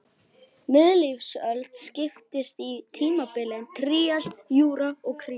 Miðlífsöld skiptist í tímabilin trías, júra og krít.